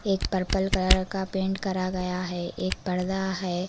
एक purple colour का paint करा गया है एक पर्दा है।